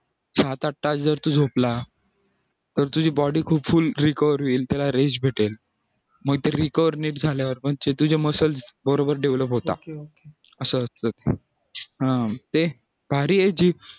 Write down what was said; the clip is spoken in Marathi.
सात आठ तास जर तू झोपला तर तुझी body खूप full recover होईल त्याला rest भेटेल मग तर recover नीट झाल्यावर पण तुझे muscle बरोबर develop होतात असं असतं